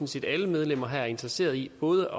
set at alle medlemmer her er interesseret i både